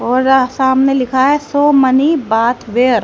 और सामने लिखा है सो मनी बाथ वेयर ।